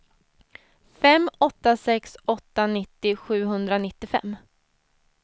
fem åtta sex åtta nittio sjuhundranittiofem